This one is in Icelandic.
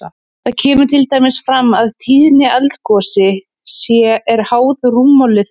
Þar kemur til dæmis fram að tíðni eldgosi er háð rúmmáli þeirra.